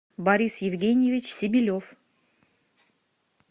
борис евгеньевич себелев